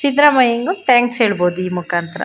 ಸಿದ್ರಾಮ್ಯಂಗೂ thanks ಹೇಳಬಹುದು ಈ ಮುಕಾಂತರ --